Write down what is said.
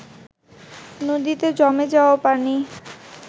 নদীতে জমে যাওয়া পানি